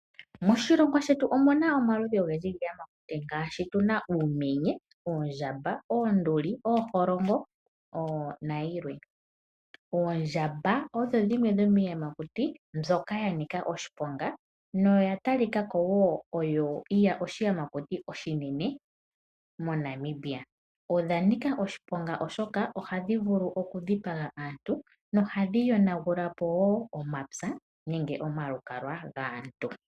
Moshilongo shetu omuna omaludhi giiyamakuti ngaashi uumenye, oondjamba , oonduli, ooholongo nayilwe. Oondjamba odho dhomiiyamakuti mbyoka yanika oshiponga molwaashoka ohadhi yonagulapo omapya , omagumbo oshowoo okudhipaga omuntu. Oya talikako onga oshinamwenyo oshinene.